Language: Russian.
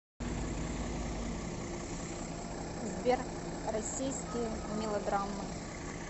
сбер российские мелодраммы